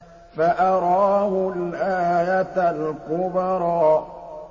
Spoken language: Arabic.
فَأَرَاهُ الْآيَةَ الْكُبْرَىٰ